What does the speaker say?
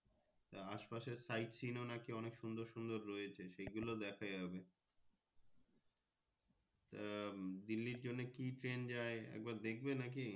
আস পাশে Sightseeing ও নাকি অনেক সুন্দর সুন্দর রয়েছে সে গুলো দেখা যাবে তা দিল্লি জন্য কি Train যাই একবার দেখবে নাকি।